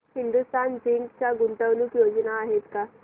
Hindustan zinc च्या गुंतवणूक योजना आहेत का